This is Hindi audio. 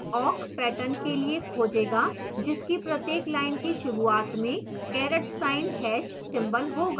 awk pattern के लिए खोजेगा जिसकी प्रत्येक line की शुरूआत में caret sign hash symbol ^# होगा